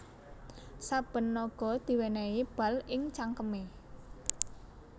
Saben naga diwènèhi bal ing cangkemé